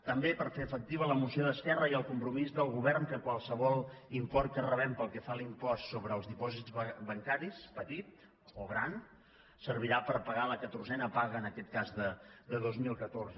també per fer efectiva la moció d’esquerra i el compro·mís del govern que qualsevol import que rebem pel que fa a l’impost sobre els dipòsits bancaris petit o gran ser·virà per pagar la catorzena paga en aquest cas de dos mil catorze